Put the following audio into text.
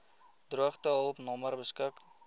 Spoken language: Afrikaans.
droogtehulp nommer beskik